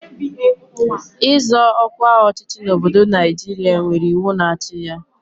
Ịzọ ọkwa ọchịchị n'obodo Naijiria nwere iwu na-achị ya.